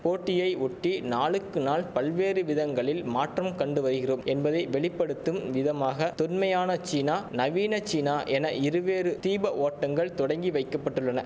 போட்டியை ஒட்டி நாளுக்கு நாள் பல்வேறு விதங்களில் மாற்றம் கண்டு வருகிறோம் என்பதை வெளி படுத்தும் விதமாக தொன்மையான சீனா நவீன சீனா என இருவேறு தீப ஓட்டங்கள் தொடங்கி வைக்க பட்டுள்ளன